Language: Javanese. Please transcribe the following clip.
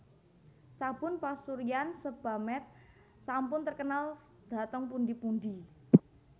Sabun pasuryan Sebamed sampun terkenal dhateng pundi pundi